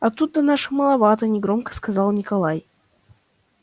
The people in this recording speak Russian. а тут-то наших маловато негромко сказал николай